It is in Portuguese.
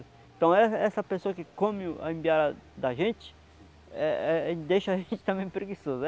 Então essa essa pessoa que come o a embiara da gente, eh eh, deixa a gente também preguiçoso.